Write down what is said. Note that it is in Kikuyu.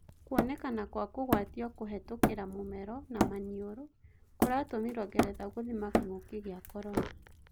Kuonekana kwa kũgwatio kũhetũkĩra mũmero na maniũrũ kũratumĩrwo Ngeretha gũthima Kĩng'ũki gĩa Korona.